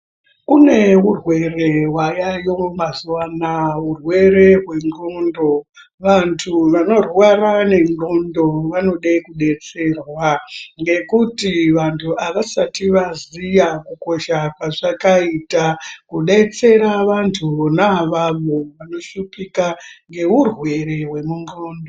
Kune urwere hwayayo mazuwa anaya, urwere hwendxondo. Vantu vanorwara nendxondo vanode kudetserwa ngekuti vantu havasati vaziya kukosha kwazvakaita kudetsera vantu vona avavo vanoshupika ngeurwere hwendxondo.